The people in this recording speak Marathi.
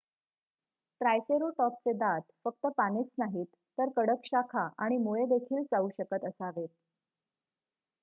ट्रायसेरोटॉपचे दात फक्त पानेच नाहीत तर कडक शाखा आणि मुळेदेखील चावू शकत असावेत